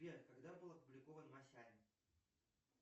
сбер когда был опубликован масяня